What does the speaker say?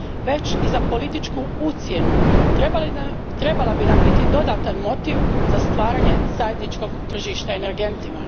već i za političku ucjenu, trebala bi nam biti dodatan motiv za stvaranje zajedničkog tržišta energentima.